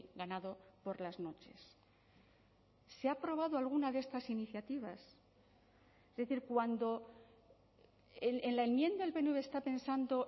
ganado por las noches se ha aprobado alguna de estas iniciativas es decir cuando en la enmienda el pnv está pensando